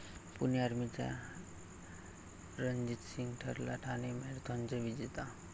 पुणे आर्मीचा रणजित सिंग ठरला ठाणे मॅरेथॉनचा विजेता